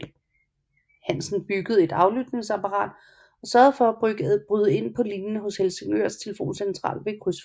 Hansen byggede et aflytningsapparat og sørgede for at bryde ind på linjen hos Helsingørs telefoncentral ved et krydsfelt